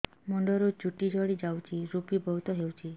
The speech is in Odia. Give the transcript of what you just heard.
ମୁଣ୍ଡରୁ ଚୁଟି ଝଡି ଯାଉଛି ଋପି ବହୁତ ହେଉଛି